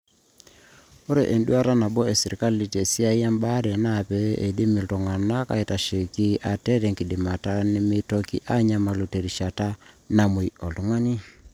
ore enduaata nabo esirkali tesiaai embaare naa pee eidim iltung'anak aaitasheiki ate tenkidimata nemeitoki aanyamalu terishata namuei iltung'ani